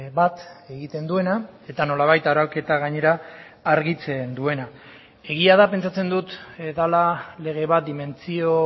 bat egiten duena eta nolabait arauketa gainera argitzen duena egia da pentsatzen dut dela lege bat dimentsio